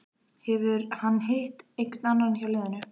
Hefur hann hitt einhvern annan hjá liðinu?